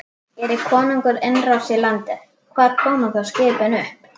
Geri konungur innrás í landið, hvar koma þá skipin upp?